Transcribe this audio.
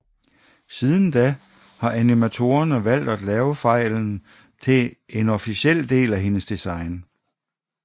Siden da har animatorerne valgt at lave fejlen til et officelt del af hendes design